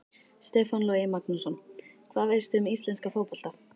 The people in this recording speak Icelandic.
Stefán Logi Magnússon Hvað veistu um íslenska fótbolta?